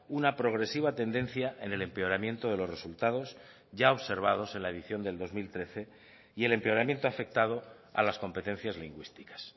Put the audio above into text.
una progresiva tendencia en el empeoramiento de los resultados ya observados en la edición del dos mil trece y el empeoramiento afectado a las competencias lingüísticas